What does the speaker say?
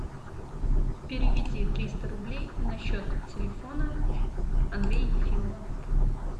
переведи триста рублей на счет телефона андрея ефимова